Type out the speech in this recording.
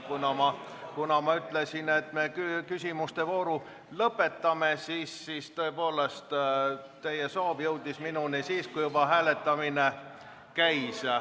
Ja kuna ma ütlesin, et me küsimuste vooru lõpetame, siis tõepoolest teie soov jõudis minuni siis, kui juba hääletamine käis.